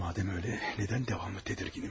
Madəm elə, nədən davamlı tədirginəm?